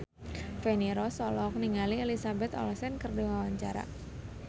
Feni Rose olohok ningali Elizabeth Olsen keur diwawancara